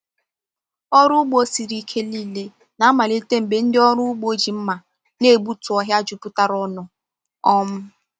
Ọrụ ugbo siri ike niile na-amalite mgbe ndị ọrụ ugbo ji mma na-egbutu ọhịa jupụtara ọnụ. um